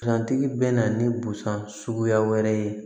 Gantigi bɛ na ni busan suguya wɛrɛ ye